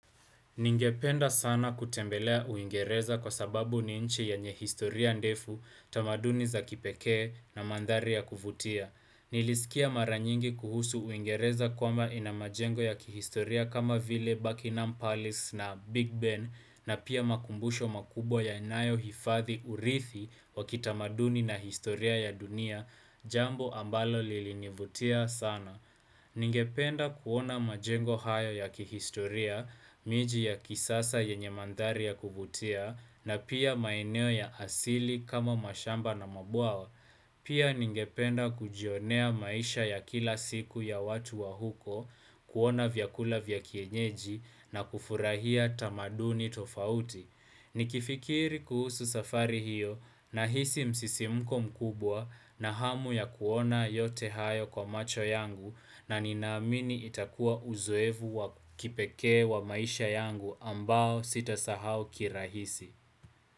Ningependa sana kutembelea Uingereza kwa sababu ni nchi yenye historia ndefu, tamaduni za kipekee na mandhari ya kuvutia. Nilisikia mara nyingi kuhusu Uingereza kwamba ina majengo ya kihistoria kama vile Buckingham Palace na Big Ben na pia makumbusho makubwa yanayohifathi urithi wa kitamaduni na historia ya dunia, jambo ambalo lilinivutia sana. Ningependa kuona majengo hayo ya kihistoria, miji ya kisasa yenye mandhari ya kuvutia na pia maeneo ya asili kama mashamba na mabwawa. Pia ningependa kujionea maisha ya kila siku ya watu wa huko, kuona vyakula vya kienyeji na kufurahia tamaduni tofauti. Nikifikiri kuhusu safari hiyo nahisi msisimuko mkubwa na hamu ya kuona yote hayo kwa macho yangu na ninaamini itakua uzoefu wa kipekee wa maisha yangu ambao sitasahau kirahisi.